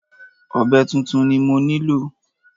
Ọ̀be tuntun ni mo nílò.